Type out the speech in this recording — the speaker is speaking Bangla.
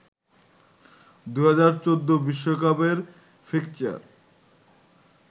২০১৪ বিশ্বকাপের ফিক্সচার